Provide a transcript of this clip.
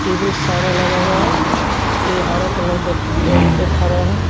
Table सारा लगा हुआ है यहां हरे कलर का खड़ा है।